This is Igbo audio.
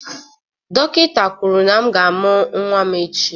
Dọkịta kwuru na m ga-amụ nwa m echi.